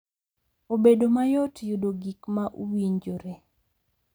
Obedo mayot yudo gik ma uwinjore